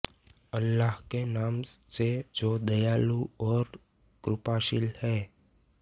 अल्लाह के नाम से जो दयालु और कृपाशील है